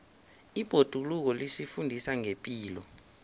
ibhoduluko lisifundisa ngepilo